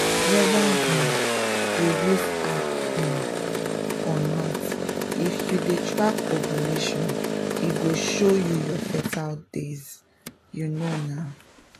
whether um you use app um or not if you dey track ovulation e go show you your fertile days — you know na!